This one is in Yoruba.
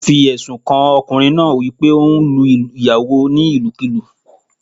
Wọ́n fi èsùn kan ọkùnrin náá wípé óún lu ìyàwó ní ìlùkulú